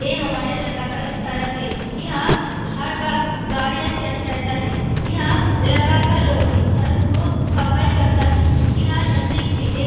ये हमारा इलाका का एक सड़क है | यहाँ हर वक्त गाडी स्टैंड रहता है | यहाँ इलाका का लोग इस सड़क को सफाई करता है | यहाँ नजदीक मे एक --